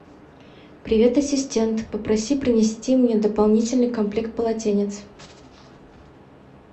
привет ассистент попроси принести мне дополнительный комплект полотенец